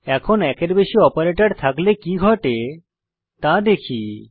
এখন একের বেশি অপারেটর থাকলে কি ঘটে তা দেখি